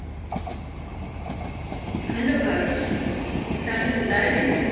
સારું છે તારે કેમ છે